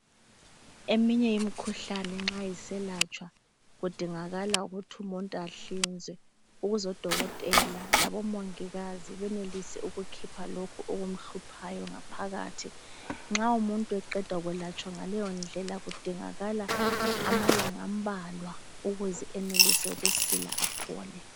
Eminye imkhuhlane nxa iselatshwa kudingakala ukuthi umuntu ahlinzwe ukuze odokotela labomongikazi benelise ukukhipha lokhu okumhluphayo ngaphakathi. Nxa umuntu eqeda kwelatshwa ngaleyo ndlela kudingakala amalanga ambalwa ukuze enelise ukusila aphole.